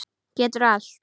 Geturðu allt?